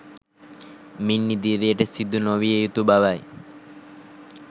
මින් ඉදිරියට සිදු නොවිය යුතු බවයි